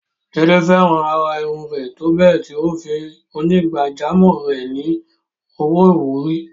Jide fẹ́ràn àrà irun rẹ̀ tó bẹ́ẹ̀ tí ó fún onígbàjámọ̀ rẹ̀ ní owó ìwúrí.